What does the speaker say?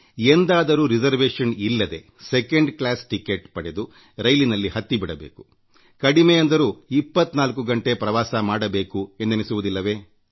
ಎಂದಾದರೂ ರಿಸರ್ವೇಶನ್ ಇಲ್ಲದೇ second class ticket ಪಡೆದು ರೈಲಿನಲ್ಲಿ ಹತ್ತಿ ಬಿಡಬೇಕು ಕಡಿಮೆ ಅಂದರೂ 24 ಗಂಟೆ ಪ್ರವಾಸ ಮಾಡಬೇಕು ಎಂದೆನಿಸುವುದಿಲ್ಲವೇ